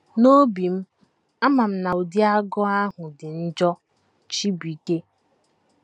N’obi m, ama m na ụdị agụụ ahụ dị njọ. ” Chibuike.